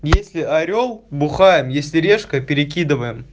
если орёл бухаем если решка перекидываем